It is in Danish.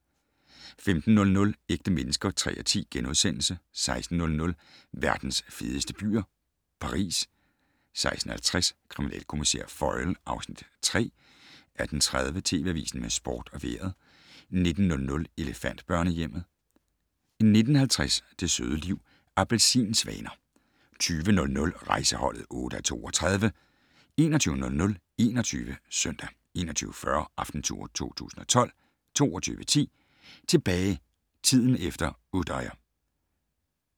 15:00: Ægte mennesker (3:10)* 16:00: Verdens fedeste byer - Paris 16:50: Kriminalkommissær Foyle (Afs. 3) 18:30: TV Avisen med sport og vejret 19:00: Elefantbørnehjemmet 19:50: Det søde liv - Appelsinsvaner 20:00: Rejseholdet (8:32) 21:00: 21 Søndag 21:40: Aftentour 2012 22:10: Tilbage - tiden efter Utøya